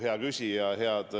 Hea küsija!